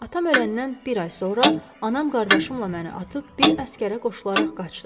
Atam öləndən bir ay sonra anam qardaşımla məni atıb bir əsgərə qoşularaq qaçdı.